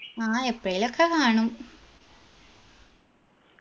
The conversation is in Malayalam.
ആ എപ്പേഴേലു ഒക്കെ കാണും